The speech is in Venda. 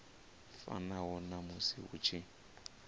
fanaho na musi hu tshi